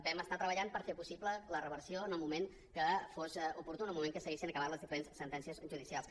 vam estar treballant per fer possible la reversió en el moment que fos oportú en el moment que s’haguessin acabat les diferents sentències judicials